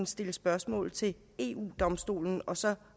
stille spørgsmål til eu domstolen og så